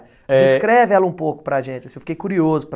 É... Descreve ela um pouco para gente, assim, eu fiquei curioso para...